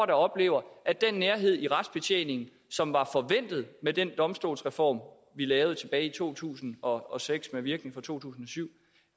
der oplever at den nærhed i retsbetjeningen som var forventet med den domstolsreform vi lavede tilbage i to tusind og seks med virkning fra to tusind og syv